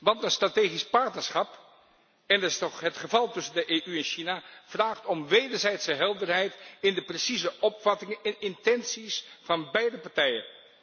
Want een strategisch partnerschap en dat is toch het geval tussen de EU en China vraagt om wederzijdse helderheid in de precieze opvattingen en intenties van beide partijen.